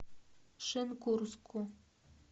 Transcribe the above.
шенкурску